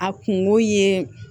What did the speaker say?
A kungo ye